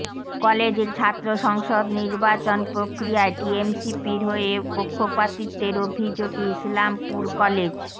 কলেজের ছাত্র সংসদ নির্বাচন প্রক্রিয়ায় টিএমসিপির হয়ে পক্ষপাতিত্বের অভিযোগে ইসলামপুর কলেজের